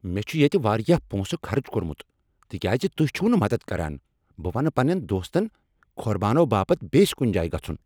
مےٚ چھ ییٚتہ واریاہ پۄنٛسہٕ خرٕچ کوٚرمُت تکیازِ تُہۍ چھو نہٕ مدد کران، بہٕ ونہ پننین دوستن كھوربانو باپت بییس كُنہِ جایہِ گژھُن۔